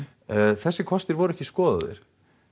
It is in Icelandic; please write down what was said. þessir kostir voru ekki skoðaðir